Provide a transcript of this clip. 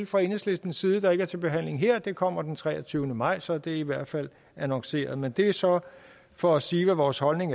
fra enhedslistens side der ikke er til behandling her det kommer de den treogtyvende maj og så er det i hvert fald annonceret men det er så for at sige hvad vores holdning